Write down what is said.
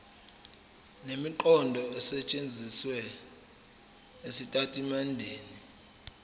nemiqondo esetshenzisiwe ezitatimendeni